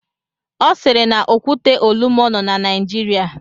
Ọ siiri na Okwute Olumo nọ na Naijiria.